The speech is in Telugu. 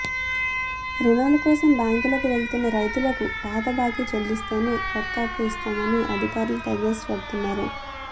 రుణాల కోసం బ్యాంకులకు వెళుతున్న రైతులకు పాత బాకీ చెల్లిస్తేనే కొత్త అప్పు ఇస్తామని అధికారులు తెగేసి చెబుతున్నారు